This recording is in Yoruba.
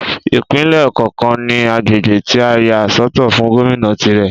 Ìpínlè kọọkan ní agbègbè tí a yà sọ́tọ̀ fún Gómìnà tirè